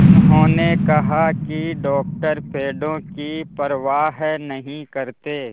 उन्होंने कहा कि डॉक्टर पेड़ों की परवाह नहीं करते